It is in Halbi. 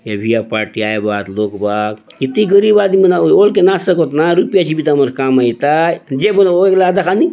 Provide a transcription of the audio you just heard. ये बिहा पार्टी आयबा आत लोग बाग इति गरीब आदमी ओल्के ना सकोत ना रुपिया ची बिता मनर काम आय एथा जेब ने ओयगला दखा नी --